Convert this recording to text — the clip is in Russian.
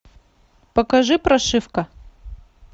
покажи прошивка